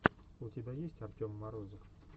у тебя есть артем морозов